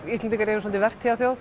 Íslendingar eru svolítið